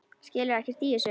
Skilur ekkert í þessu.